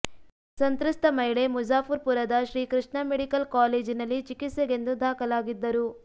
ಸಂತ್ರಸ್ತ ಮಹಿಳೆ ಮುಜಾಫುರ್ ಪುರದ ಶ್ರೀಕೃಷ್ಣ ಮೆಡಿಕಲ್ ಕಾಲೇಜಿನಲ್ಲಿ ಚಿಕಿತ್ಸೆಗೆಂದು ದಾಖಲಾಗಿದ್ದರು